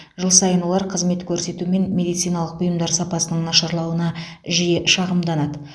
жыл сайын олар қызмет көрсету мен медициналық бұйымдар сапасының нашарлауына жиі шағымданады